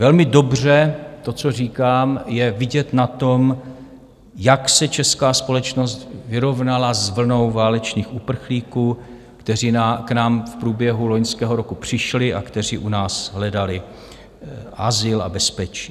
Velmi dobře to, co říkám, je vidět na tom, jak se česká společnost vyrovnala s vlnou válečných uprchlíků, kteří k nám v průběhu loňského roku přišli a kteří u nás hledali azyl a bezpečí.